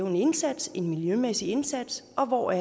en indsats en miljømæssig indsats og